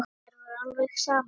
Mér var alveg sama.